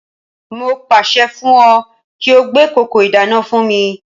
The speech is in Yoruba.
Mo pàṣẹ fún ọ kí ó gbé kòkò ìdáná fún mi